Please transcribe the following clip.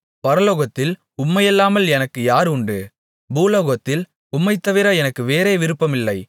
பரலோகத்தில் உம்மையல்லாமல் எனக்கு யார் உண்டு பூலோகத்தில் உம்மைத் தவிர எனக்கு வேறே விருப்பமில்லை